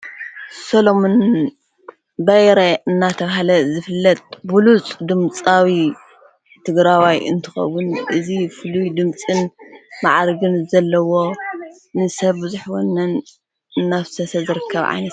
ሰሎምን በይረ እናተብሃለ ዝፍለጥ ብሉፁ ድምጻዊ ትግራዋይ እንትኸቡን እዝ ፍሉይ ድምጽን መዓርግን ዘለዎ ንሰብ ዙኅወነን ናፍሰሰ ዘርከብ ዓይነት እዩ።